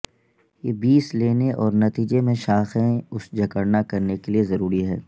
یہ بیس لینے اور نتیجے میں شاخیں اس جکڑنا کرنے کے لئے ضروری ہے